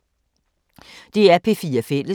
DR P4 Fælles